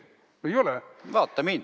Vaata mind!